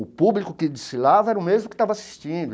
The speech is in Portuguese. O público que desfilava era o mesmo que estava assistindo.